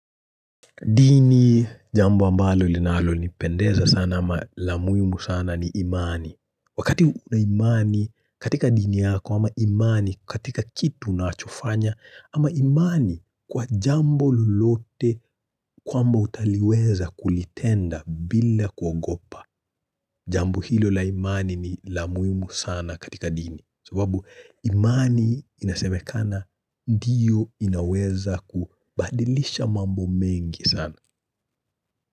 Dini, jambo ambalo linalonipendeza sana ama la muhimu sana ni imani. Wakati una imani katika dini yako ama imani katika kitu unachofanya ama imani kwa jambo lolote kwamba utaliweza kulitenda bila kuogopa. Jambo hilo la imani ni la muhimu sana katika dini. Sibabu imani inasemekana ndiyo inaweza kubadilisha mambo mengi sana.